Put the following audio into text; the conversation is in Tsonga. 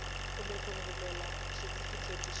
kumbe ku rhumela xitifiketi xa